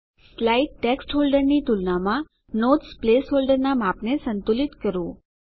slide text હોલ્ડરની તુલનામાં notes place હોલ્ડરના માપને સંતુલિત કરો